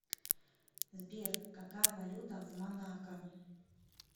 сбер какая валюта в монако